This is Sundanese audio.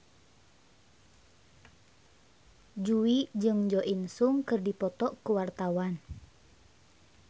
Jui jeung Jo In Sung keur dipoto ku wartawan